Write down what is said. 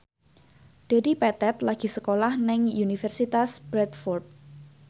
Dedi Petet lagi sekolah nang Universitas Bradford